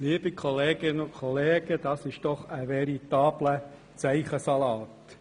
Liebe Kolleginnen und Kollegen, das ist doch ein veritabler Zeichensalat!